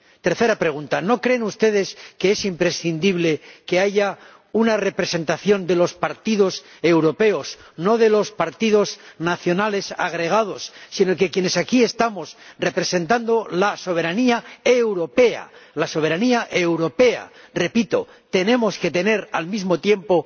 Tercera pregunta ¿No creen ustedes que es imprescindible que haya una representación de los partidos europeos, no de los partidos nacionales agregados, sino que quienes aquí estamos representando la soberanía europea —la soberanía europea, repito—, tenemos que tener al mismo tiempo